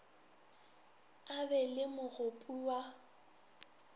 a be le mogopo wa